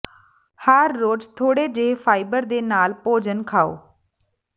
ਹਰ ਰੋਜ਼ ਥੋੜੇ ਜਿਹੇ ਫਾਈਬਰ ਦੇ ਨਾਲ ਭੋਜਨ ਖਾਓ